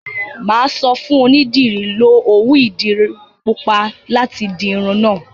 Mà á sọ fún onídìrí, 'Lo òwú ìdiru pupa láti di irun náà'